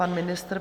Pan ministr.